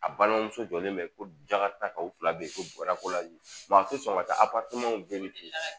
A balimamuso jɔlen bɛ ko jala ta ka o fila bɛ yen kora ko la a tɛ sɔn ka taa ten